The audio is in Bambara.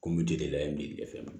Kun bi deli la yen bi dɛsɛ ma